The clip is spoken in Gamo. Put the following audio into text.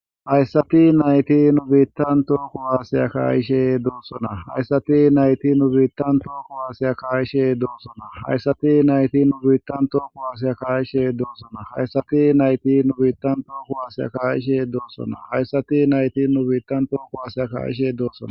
Hayssati nayti nu biittan tooko aasiya kaayishe doossona hayssati nayti nu biittan tooko haasiya kaa7ishe doossona hayssati nayti nu biittan tooko aasiya kaayishe doossona hayssati nayti nu biittan tooko aasiya kaa7ishe doosona hayssati nayti nu biittan tooko waasiya ka7ishe doosona